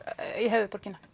í höfuðborgina